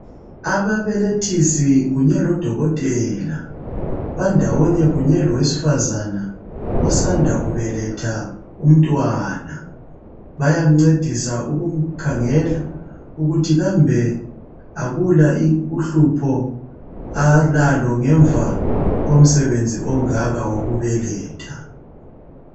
Ababelethisi kunye lodokotela bandawonye kunye lowesifazane osanda kubeletha umntwana bayamncedisa ukukhangela ukuthi kambe akula uhlupho alalo ngemva komsebenzi ongaka wokubeletha